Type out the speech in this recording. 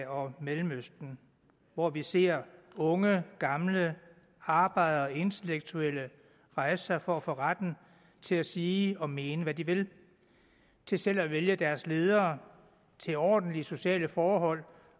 og mellemøsten hvor vi ser unge gamle arbejdere og intellektuelle rejse sig for at få retten til at sige og mene hvad de vil til selv at vælge deres ledere til ordentlige sociale forhold